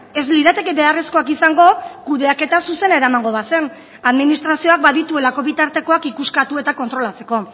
ez lirateke beharrezkoak izango kudeaketa zuzena eramango bazen administrazioak badituelako bitartekoak ikuskatu eta kontrolatzeko